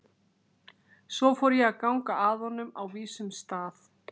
Svo fór ég að ganga að honum á vísum stað.